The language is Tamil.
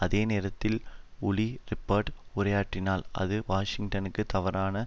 அதே நேரத்தில் உலி ரிப்பர்ட் உரையாற்றினால் அது வாஷிங்டனுக்கு தவறான